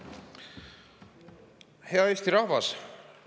Hea Eesti rahvas!